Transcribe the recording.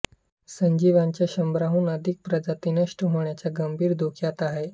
सजीवांच्या शंभराहून अधिक प्रजाती नष्ट होण्याच्या गंभीर धोक्यात आहेत